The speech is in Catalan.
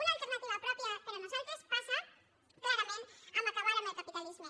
una alternativa pròpia per a nosaltres passa clarament per acabar amb el capitalisme